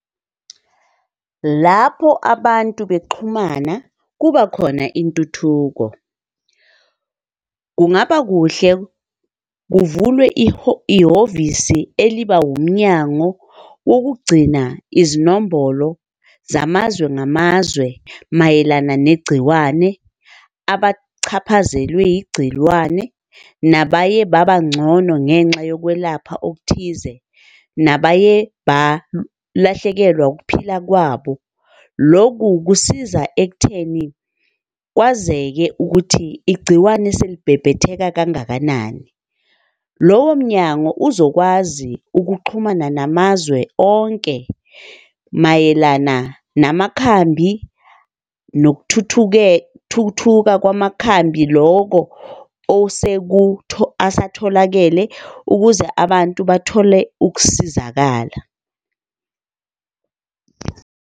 Lapho abantu bexhumana kuba khona intuthuko. Kungaba kuhle kuvulwe ihhovisi eliba wumnyango wokugcina izinombolo zamazwe ngamazwe mayelana negciwane abachaphazelwe yigciwane nabaye baba ngcono ngenxa yokwelapha okuthize nabaye balahlekelwa ukuphila kwabo. Loku kusiza ekutheni kwazeke ukuthi igciwane selibhebhetheka kangakanani. Lowo mnyango uzokwazi ukuxhumana namazwe onke mayelana namakhambi nokuthuthuke, thuthuka kwamakhambi, loko asatholakele ukuze abantu bathole ukusizakala.